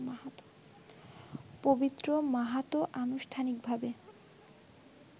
পবিত্র মাহাতো আনুষ্ঠানিকভাবে